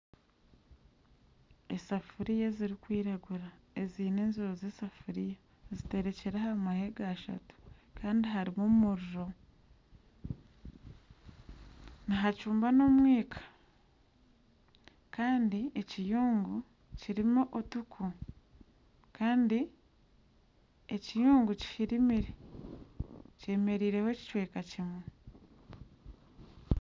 Esafiriya ezirikwiragura ezeine enziro z'esafiriya ziterekire aha mahega ashatu Kandi harimu omuriro. Nihacumba n'omwika Kandi ekiyungu kirimu otuku Kandi ekiyungu kihirimire kyemereireho ekicweka kimwe.